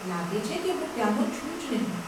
લાગે છે કે હું ત્યાનો છું જ નહીં.